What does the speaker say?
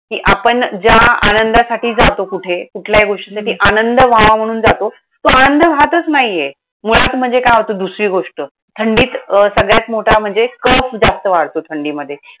कि आपण ज्या आनंदासाठी जातो कुठे, कुठल्याही हम्म गोष्टीसाठी आनंद व्हावा म्हणून जातो. तो आनंद राहतंच नाहीये. मुळात म्हणजे काय होतं, दुसरी गोष्ट, थंडीत सगळ्यात मोठा म्हणजे cough जास्त वाढतो थंडीमध्ये.